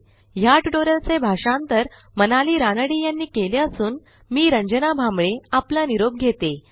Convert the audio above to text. ह्या ट्युटोरियलचे भाषांतर मनाली रानडे यांनी केले असून मी रंजना भांबळे आपला निरोप घेते160